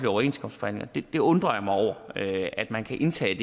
overenskomstforhandlinger jeg undrer mig over at at man kan indtage